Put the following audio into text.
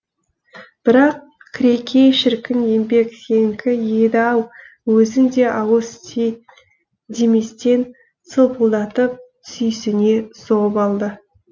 бірақ кірекей шіркін еңбек сенікі еді ау өзің де ауыз ти деместен сылпылдатып сүйсіне соғып алды